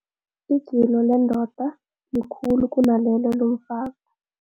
Igilo lendoda likhulu kunalelo lomfazi.